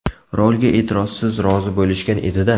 Rolga e’tirozsiz rozi bo‘lishgan edi-da.